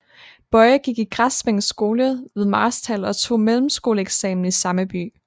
Boye gik i Græsvænget Skole ved Marstal og tog mellemskoleeksamen i samme by